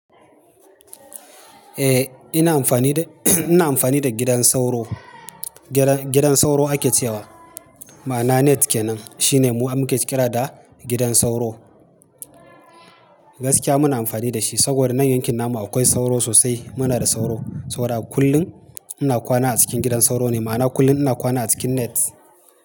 Eh, ina amfani da, ina amfani da gidan sauro. Gidan sauro ake cewa, ma'ana Net ke nan. Shi ne mu muke ƙira da gidan sauro. Gaskiya muna amfani da shi, saboda nan yankin namu akwai sauro sosai. Muna da sauro, sau da kullun. Ina kwana a cikin gidan sauro ne, ma'ana kullum ina kwana a cikin Net.